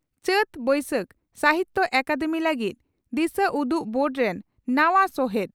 ᱪᱟᱹᱛᱼᱵᱟᱹᱭᱥᱟᱹᱛ, ᱥᱟᱦᱤᱛᱭᱚ ᱟᱠᱟᱫᱮᱢᱤ ᱞᱟᱹᱜᱤᱫ ᱫᱤᱥᱟᱹ ᱩᱫᱩᱜ ᱵᱳᱨᱰ ᱨᱮᱱ ᱱᱟᱣᱟ ᱥᱚᱦᱮᱛ